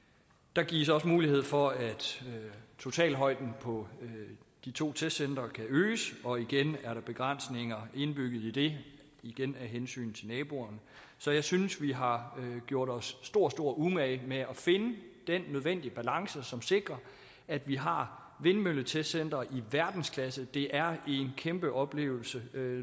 der gives også mulighed for at totalhøjden på de to testcentre kan øges og igen er der begrænsninger indbygget i det igen af hensyn til naboerne så jeg synes at vi har gjort os stor stor umage med at finde den nødvendige balance som sikrer at vi har vindmølletestcentre i verdensklasse det er en kæmpe oplevelse